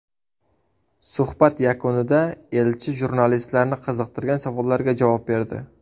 Suhbat yakunida elchi jurnalistlarni qiziqtirgan savollarga javob berdi.